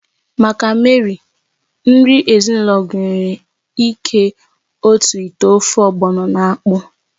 Maka Mary, nri ezinụlọ gụnyere ịké otu ite ofe ogbọno na akpụ